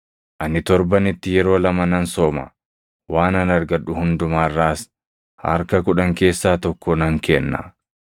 Ani torbanitti yeroo lama nan sooma; waanan argadhu hundumaa irraas harka kudhan keessaa tokko nan kenna.’